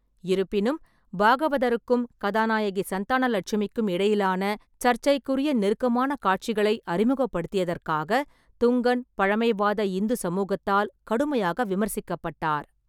இருப்பினும், பாகவதருக்கும் கதாநாயகி சந்தானலட்சுமிக்கும் இடையிலான சர்ச்சைக்குரிய நெருக்கமான காட்சிகளை அறிமுகப்படுத்தியதற்காக துங்கன் பழமைவாத இந்து சமூகத்தால் கடுமையாக விமர்சிக்கப்பட்டார்.